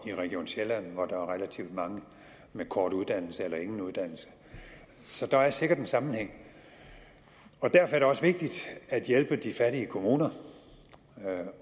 i region sjælland hvor der er relativt mange med korte uddannelser eller ingen uddannelse så der er sikkert en sammenhæng derfor er det også vigtigt at hjælpe de fattige kommuner